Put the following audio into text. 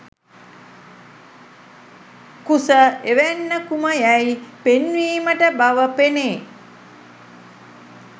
කුස එවැන්නකුම යැයි පෙන්වීමට බව පෙනේ